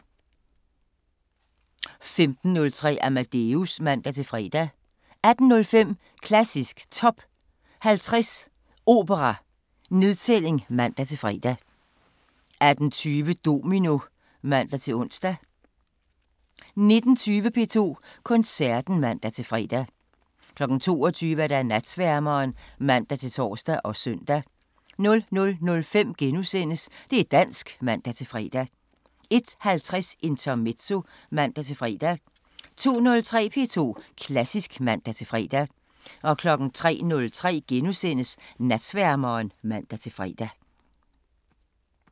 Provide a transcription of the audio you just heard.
15:03: Amadeus (man-fre) 18:05: Klassisk Top 50 Opera: Nedtælling (man-fre) 18:20: Domino (man-ons) 19:20: P2 Koncerten (man-fre) 22:00: Natsværmeren (man-tor og søn) 00:05: Det' dansk *(man-fre) 01:50: Intermezzo (man-fre) 02:03: P2 Klassisk (man-fre) 03:03: Natsværmeren *(man-fre)